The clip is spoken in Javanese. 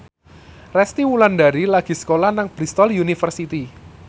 Resty Wulandari lagi sekolah nang Bristol university